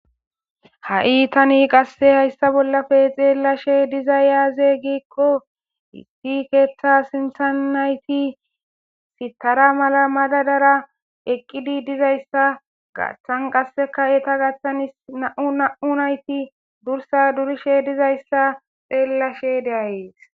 ha7i tani qasse hayssa bollafe xeellashe diza yaaze giikqo hissi keeththa sintha nayti sitara mala madadara eqqidi dizayssa gaththan qasseka eta gaththanis na7u na7u nayti dursa durishe dizayssa xeellashe deayees